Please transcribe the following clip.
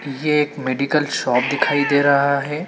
ये एक medical shop दिखाई दे रहा है।